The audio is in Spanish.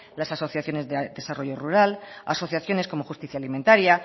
las asociaciones de desarrollo rural asociaciones como justicia alimentaria